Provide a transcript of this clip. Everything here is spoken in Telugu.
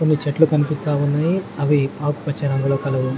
కొన్ని చెట్లు కనిపిస్తా ఉన్నాయ్ అవి ఆకుపచ్చ రంగులో కలవు.